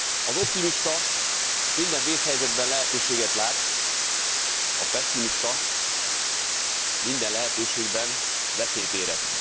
Az optimista minden vészhelyzetben lehetőséget lát, a pesszimista minden lehetőségben veszélyt érez.